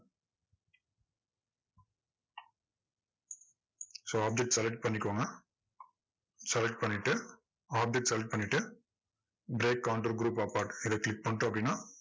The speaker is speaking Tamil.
so object select பண்ணிக்கோங்க select பண்ணிட்டு object select பண்ணிட்டு break counter group apart இதை click பண்ணிட்டோம் அப்படின்னா,